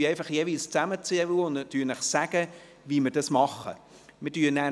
Danach werden wir zusammenzählen und Ihnen jeweils mitteilen, wie wir vorgehen.